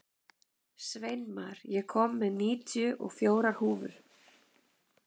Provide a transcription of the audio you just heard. Sveinmar, ég kom með níutíu og fjórar húfur!